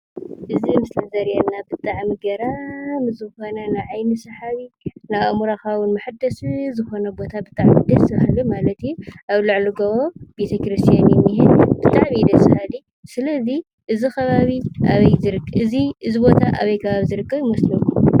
እዚ ኣብ ምስሊ ዝረኣየና ብጣዕሚ ገራሚ ዝኾነ ንዓይኑ ሰሓቢ ንኣእምሮኻ እውን መሐደሲ ዝኾነ ቦታ ብጣዕሚ ደስ ብሃሊ ማለት እዩ። ኣብ ልዕሊ ጎቦ ቤተ ክርስትያን እዩ ዝኒሀ ብጣዕሚ ደስ ባሃሊ ስለዙይ እዚ ቦታ ኣበይ ዝርከብ ይመስለኩም?